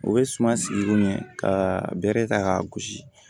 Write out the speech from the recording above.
U bɛ suma sigi kun ɲɛ ka bere ta ka gosi